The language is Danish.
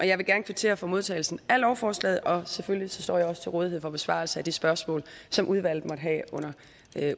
jeg vil gerne kvittere for modtagelsen af lovforslaget og selvfølgelig står jeg til rådighed for besvarelse af de spørgsmål som udvalget måtte have under